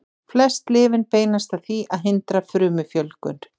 Flest lyfin beinast að því að hindra frumufjölgun.